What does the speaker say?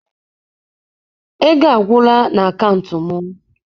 Ego agwụla n'akaụntụ m.